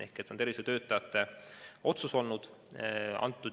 Ehk see on tervishoiutöötajate otsus olnud.